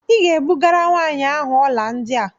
Ị ga-ebugara nwaanyị ahụ ọla ndị a!